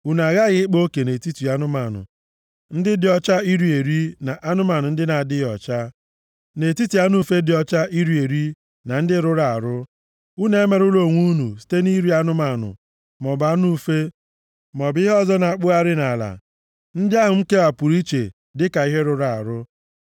“ ‘Unu aghaghị ịkpa oke nʼetiti anụmanụ ndị dị ọcha iri eri, na anụmanụ ndị na-adịghị ọcha, na nʼetiti anụ ufe dị ọcha iri eri na ndị rụrụ arụ. + 20:25 \+xt Dit 14:3-21\+xt* Unu emerụla onwe unu site nʼiri anụmanụ maọbụ anụ ufe, maọbụ ihe ọzọ na-akpụgharị nʼala, ndị ahụ m kewapụrụ iche dịka ihe rụrụ arụ.